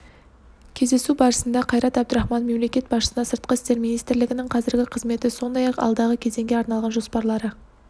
кездесу барысында қайрат әбдірахманов мемлекет басшысына сыртқы істер министрлігінің қазіргі қызметі сондай-ақ алдағы кезеңге арналған жоспарлары